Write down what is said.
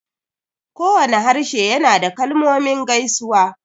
Kowane harshe yana da kalmomin gaisuwa